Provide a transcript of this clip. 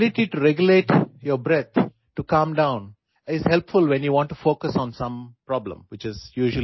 দবা খেলাৰ অৰ্থ হল কোনো সমস্যাৰ ওপৰত মনোনিৱেশ কৰা সেই ক্ষেত্ৰত উশাহনিশাহ নিয়ন্ত্ৰণ কৰাৰ ক্ষমতাই শান্ত স্থিৰ হৈ থকাত সহায় কৰে